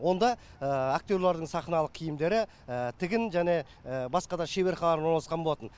онда актерлердің сахналық киімдері тігін және басқа да шеберханалар орналасқан болатын